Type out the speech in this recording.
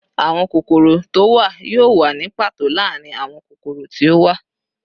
Awọn kokoro to wa yoo wa ni pato laarin awọn kokoro ti o wa